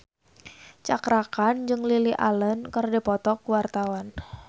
Cakra Khan jeung Lily Allen keur dipoto ku wartawan